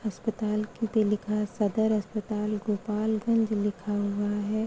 अस्पताल पे लिखा सदर अस्पताल गोपाल गंज लिखा हुआ है।